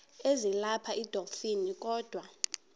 ezilapha edolophini kodwa